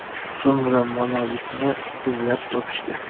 So‘ngra monolitni izlab topishgan.